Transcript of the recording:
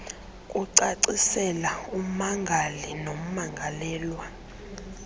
kucacisela ummangali nommangalelwa